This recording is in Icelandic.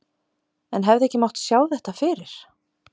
En hefði ekki mátt sjá þetta fyrir?